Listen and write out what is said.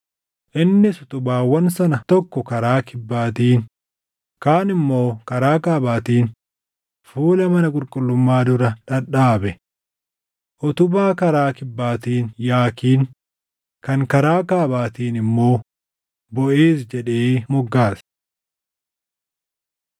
Innis utubaawwan sana tokko karaa kibbaatiin kaan immoo karaa kaabaatiin fuula mana qulqullummaa dura dhadhaabe. Utubaa karaa kibbaatiin Yaakiin kan karaa kaabaatiin immoo Boʼeez jedhee moggaase.